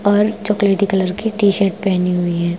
और चॉकलेटी कलर की टी शर्ट पहनी हुई है।